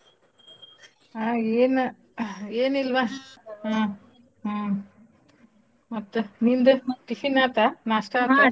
ಹಾ ಏನ್~ ಎನಿಲ್ವಾ ಹಾ ಹಾ ಮತ್ತ್ನಿಂದು? tiffin ಆತಾ ನಾಸ್ಟಾ ಆತಾ? .